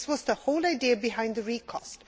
This was the whole idea behind the recast.